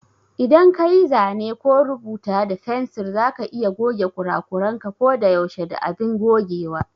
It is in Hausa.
Idan kayi zane ko rubuta da fensir za ka iya goge kurakuranka ko da yaushe da abin gogewa.